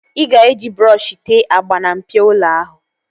Ị ga-eji brọọshi tee agba na mpio ụlọ ahụ